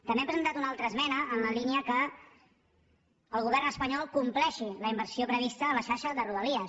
també hem presentat una altra esmena en la línia que el govern espanyol compleixi la inversió prevista a la xarxa de rodalies